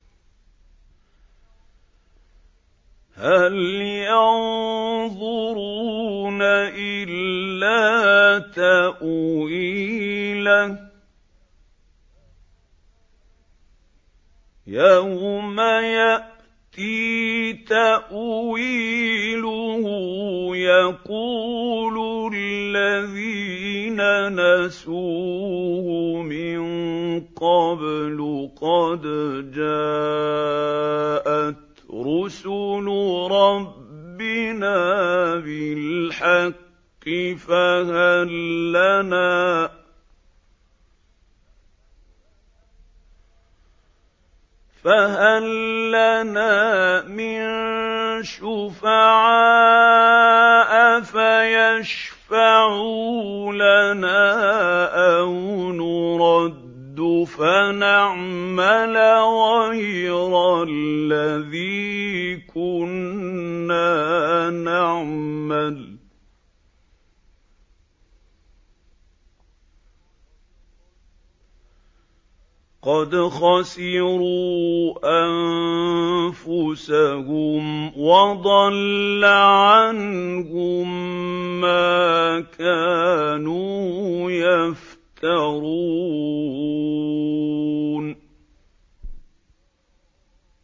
هَلْ يَنظُرُونَ إِلَّا تَأْوِيلَهُ ۚ يَوْمَ يَأْتِي تَأْوِيلُهُ يَقُولُ الَّذِينَ نَسُوهُ مِن قَبْلُ قَدْ جَاءَتْ رُسُلُ رَبِّنَا بِالْحَقِّ فَهَل لَّنَا مِن شُفَعَاءَ فَيَشْفَعُوا لَنَا أَوْ نُرَدُّ فَنَعْمَلَ غَيْرَ الَّذِي كُنَّا نَعْمَلُ ۚ قَدْ خَسِرُوا أَنفُسَهُمْ وَضَلَّ عَنْهُم مَّا كَانُوا يَفْتَرُونَ